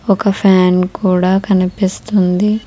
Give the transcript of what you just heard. ఒక ఫ్యాన్ కూడా కనిపిస్తుంది.